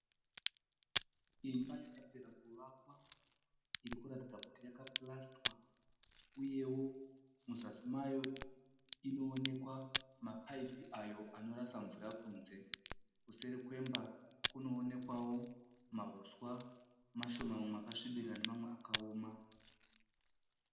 Imba yakapera kuvakwa irikuratidza kuti yakapurasitwa uyewo muzasi mayo inoonekwa mapaipi ayo anorasa mvura kunze. Kuseri kwemba kunoonekwawo mahuswa mashoma mamwe akasvibirira nemamwe akaoma.